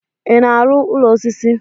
ị na-arụ ụlọ osisi?